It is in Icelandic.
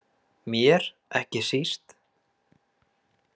Mér ekki síst.